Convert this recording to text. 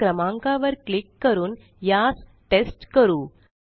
या क्रमांका वर क्लिक करून यास टेस्ट करू